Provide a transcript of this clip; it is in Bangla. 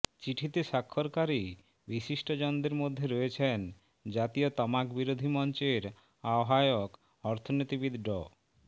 চিঠিতে স্বাক্ষরকারী বিশিষ্টজনদের মধ্যে রয়েছেন জাতীয় তামাকবিরোধী মঞ্চের আহ্বায়ক অর্থনীতিবিদ ড